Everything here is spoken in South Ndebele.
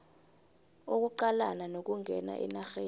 ukuqalana nokungena enarheni